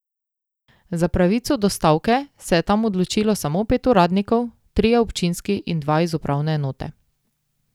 Za pravico do stavke se je tam odločilo samo pet uradnikov, trije občinski in dva iz upravne enote.